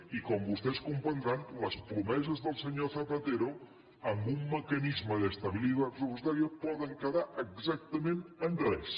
i com vostès comprendran les promeses del senyor zapatero amb un mecanisme d’estabilidad presupuestariaquedar exactament en res